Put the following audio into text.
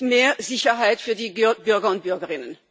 Es ist mehr Sicherheit für die Bürger und Bürgerinnen.